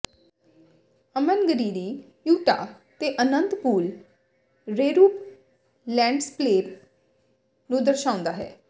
ਅਮਨਗਰੀਰੀ Utah ਤੇ ਅਨੰਤ pool ਰੇਰੂਪ ਲੈਂਡਸਪਲੇਪ ਨੂੰ ਦਰਸਾਉਂਦਾ ਹੈ